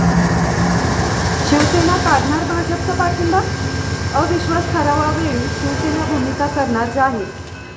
शिवसेना काढणार भाजपचा पाठिंबा? अविश्वास ठरावावेळी शिवसेना भूमिका करणार जाहीर